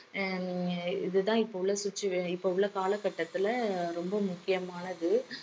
ஹம் இது தான் இப்ப உள்ள situa~ இப்ப உள்ள காலகட்டத்தில ரொம்ப முக்கியமானது